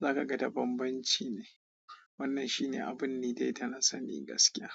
za ka ga da bambanci ne. Wannan shi ne abun nidai da nasani gaskiya.